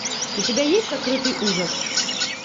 у тебя есть сокрытый ужас